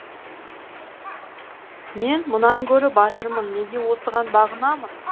мен мұнан гөрі батырмын неге осыған бағынамын